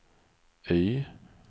Y